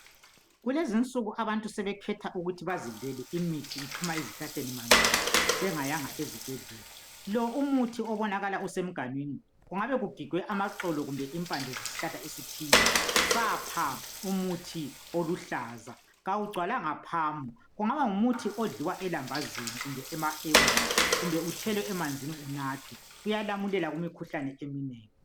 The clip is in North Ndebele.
Kulezi insuku abantu sebekhetha ukuthi bazidlele imithi iphuma esihlahleni manqamu bengayanga ezibhedlela. Lo umuthi osemganinwi kungabe kugigwe amaxolo kumbe impande zesihlahla esithile sapha umuthi oluhlaza. Kawugcwalanga phamu, kungaba ngumuthi odliwa elambazini kumbe emahewini, kumbe uthelwe emanzini unathwe. Kuyalamulela kumikhuhlane eminengi.